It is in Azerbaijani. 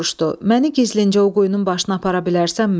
Məni gizlincə o quyunun başına apara bilərsənmi?